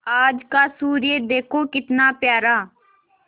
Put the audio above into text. आज का सूर्य देखो कितना प्यारा